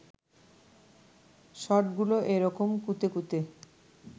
শর্টগুলো এ রকম কুঁতে কুঁতে